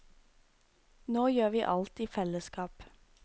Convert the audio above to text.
Nå gjør vi alt i fellesskap.